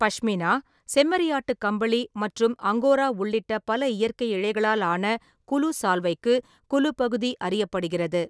பஷ்மினா, செம்மறியாட்டு கம்பளி மற்றும் அங்கோரா உள்ளிட்ட பல இயற்கை இழைகளால் ஆன குலு சால்வைக்கு குலு பகுதி அறியப்படுகிறது.